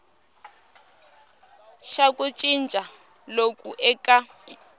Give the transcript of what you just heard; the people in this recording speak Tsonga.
xa ku cinca loku eka